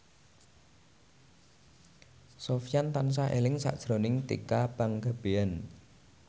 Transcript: Sofyan tansah eling sakjroning Tika Pangabean